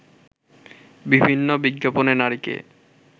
বিভিন্ন বিজ্ঞাপনে নারীকে